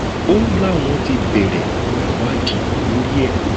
o láwọn ti bẹrẹ ìwádìí lórí ẹ